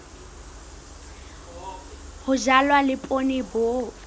ho jalwa le poone bo